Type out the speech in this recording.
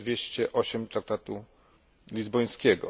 208 Traktatu lizbońskiego.